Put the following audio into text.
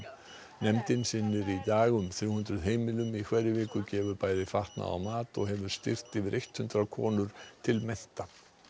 nefndin sinnir í dag um þrjú hundruð heimilum í hverri viku gefur bæði fatnað og mat og hefur styrkt yfir hundrað konur til mennta